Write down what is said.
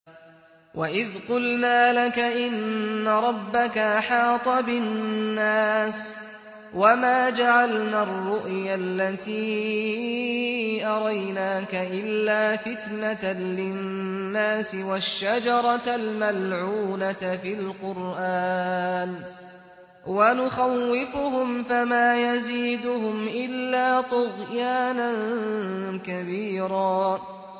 وَإِذْ قُلْنَا لَكَ إِنَّ رَبَّكَ أَحَاطَ بِالنَّاسِ ۚ وَمَا جَعَلْنَا الرُّؤْيَا الَّتِي أَرَيْنَاكَ إِلَّا فِتْنَةً لِّلنَّاسِ وَالشَّجَرَةَ الْمَلْعُونَةَ فِي الْقُرْآنِ ۚ وَنُخَوِّفُهُمْ فَمَا يَزِيدُهُمْ إِلَّا طُغْيَانًا كَبِيرًا